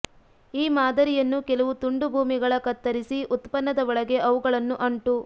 ಈ ಮಾದರಿಯನ್ನು ಕೆಲವು ತುಂಡುಭೂಮಿಗಳ ಕತ್ತರಿಸಿ ಉತ್ಪನ್ನದ ಒಳಗೆ ಅವುಗಳನ್ನು ಅಂಟು